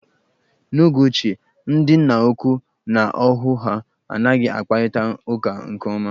N'oge ochie, ndị nna ukwu na ohu ha anaghị akparịta uka nke ọma.